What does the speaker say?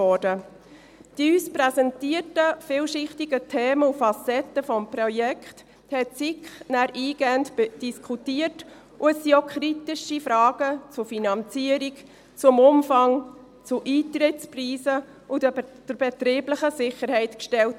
Die uns präsentierten vielschichtigen Themen und Facetten des Projekts diskutierte die SiK danach eingehend, und es wurden auch kritische Fragen zur Finanzierung, zum Umfang, zu Eintrittspreisen und zur betrieblichen Sicherheit gestellt.